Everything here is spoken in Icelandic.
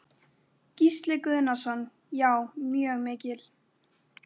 Gísli Guðnason: Já, mjög mikil?